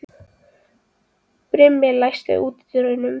Brimi, læstu útidyrunum.